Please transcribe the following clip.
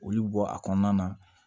Olu bɔ a kɔnɔna na